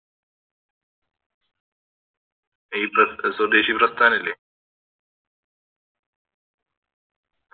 അഹ് ഈ പ്ര സ്വദേശി പ്രാസ്ഥാനില്ലേ